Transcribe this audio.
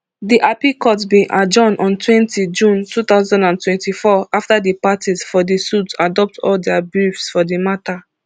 di appeal court bin adjourn on twenty june two thousand and twenty-four after di parties for di suit adopt all dia briefs for di matter